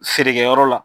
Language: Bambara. Feerekɛyɔrɔ la